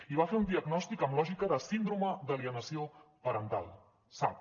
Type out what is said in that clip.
i va fer un diagnòstic amb lògica de síndrome d’alienació parental sap